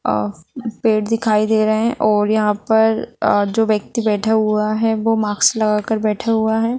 आ पेड़ दिखाई दे रहे हैं और यहाँ पर आ जो व्यक्ति बैठा हुआ है वो माक्स लगाकर बैठा हुआ है।